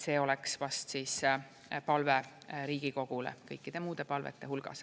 See oleks vast palve Riigikogule kõikide muude palvete hulgas.